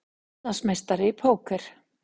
Íslandsmeistari í póker